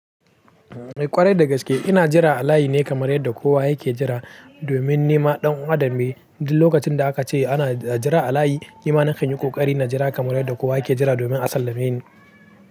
Kwarai da gaske ina jira a layi ne kamar yadda kowa yake jira domin nima ɗan adam ne. Duk lokacin da aka ce ana a jira a layi, nima nakanyi ƙoƙari na jira kamar yadda kowa yake jira domin a sallame ni.